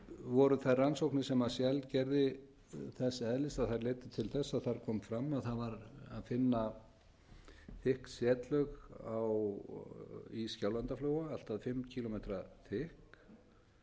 voru þær rannsóknir sem shell gerði þess eðlis að þær leiddu til þess að þar kom fram að það var að finna þykk setlög í skjálfandaflóa allt að fimm